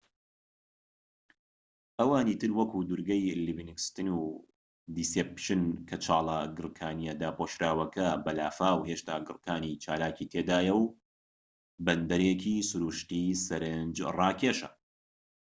ئەوانی تر وەکو دورگەی لیڤینگستن و دیسێپشن کە چاڵە گڕکانیە داپۆشراوەکە بە لافاو هێشتا گڕكانی چالاکی تێدایە و بەندەرێکی سروشتیی سەرنجراکێشە